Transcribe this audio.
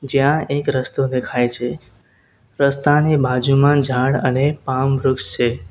જ્યાં એક રસ્તો દેખાય છે રસ્તાની બાજુમાં ઝાડ અને પામ વૃક્ષ છે.